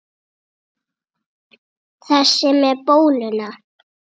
Þessi með bóluna?